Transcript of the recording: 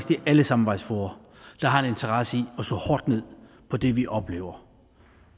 det er alle samarbejdsfora der har en interesse i at slå hårdt ned på det vi oplever